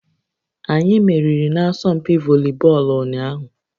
Anyị meriri n'asọmpi volibọọlụ ụnyaahụ